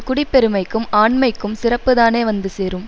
குடிப்பெருமைக்கும் ஆண்மைக்கும் சிறப்பு தானே வந்து சேரும்